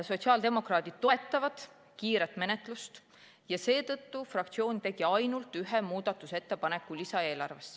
Sotsiaaldemokraadid toetavad kiiret menetlust ja seetõttu tegigi fraktsioon lisaeelarve muutmiseks ainult ühe ettepaneku.